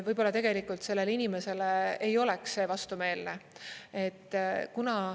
Võib-olla tegelikult sellele inimesele ei oleks see vastumeelne.